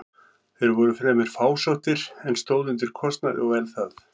Þeir voru fremur fásóttir, en stóðu undir kostnaði og vel það.